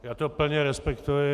Já to plně respektuji.